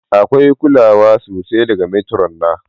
Akwai kulawa sosai daga matron na.